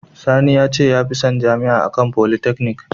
Sani ya ce ya fi son Jami’a a kan polytechnic